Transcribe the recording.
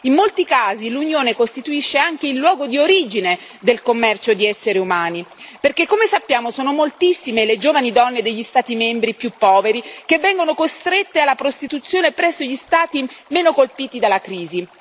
in molti casi l'Unione costituisce anche il luogo di origine del commercio di esseri umani perché, come sappiamo, sono moltissime le giovani donne degli Stati membri più poveri che vengono costrette alla prostituzione presso gli Stati meno colpiti dalla crisi.